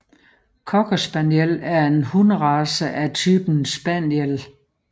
Cockerspaniel er en hunderace af typen spaniel